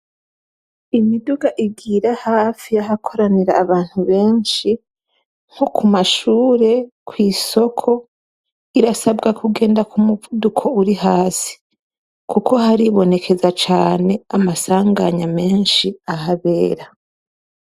Imiduga igira hafi yahakoranira abantu benshi nko kumashure, kw'soko irasabwa kugenda kumuvuduko uri hasi kuko haribonekeza cane amasaganya menshi ahabera.